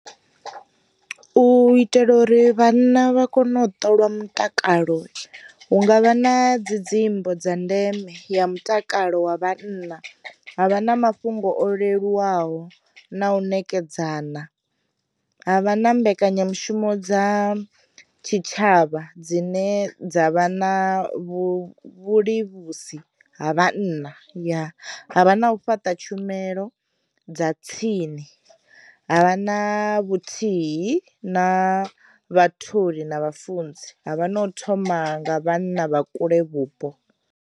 U itela uri vhanna vha kono u ṱola mutakalo hu ngavha na dzi dzimbo dza ndeme ya mutakalo wa vhanna, ha vha na mafhungo o leluwaho na u nekedzana, ha vha na mbekanyamushumo dza tshi tshavha dzine dza vha na vhulivhusi ha vhana ya, ha vha na u fhaṱa tshumelo dza tsini, ha vha na vhuthihi na vhatholi na vhafunzi, ha vha na u thoma nga vhana vha kule vhupo.